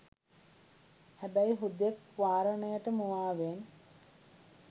හැබැයි හුදෙක් වාරණයට මුවාවෙන්